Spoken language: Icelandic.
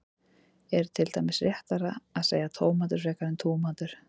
er til dæmis réttara að segja tómatur frekar en túmatur